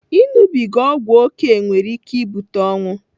Ịnụbiga ọgwụ oke nwere ike ibute ọnwụ.